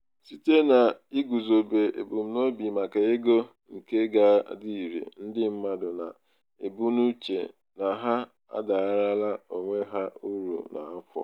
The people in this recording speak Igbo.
site n'iguzobe ebumnobi maka ego nke ga-adị ire ndị mmadụ na-ebu n'uche na ha abaarala onwe ha uru n'afọ.